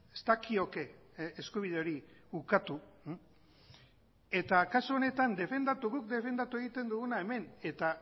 ez dakioke eskubide hori ukatu eta kasu honetan defendatu guk defendatu egiten duguna hemen eta